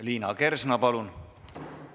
Liina Kersna, palun!